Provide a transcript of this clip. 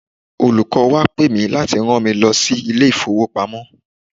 Olùkọ́ wa pe mì láti rán mi lọ sí ilé ìfowopamọ́.